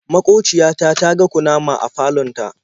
Maƙociya ta ta ga kunama a falon ta.